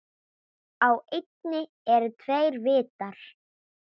Á eynni eru tveir vitar.